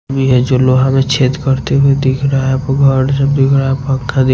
यह जो लोहा में छेद करते हुए दिख रहा है दिख रहा हैपंखा दिख--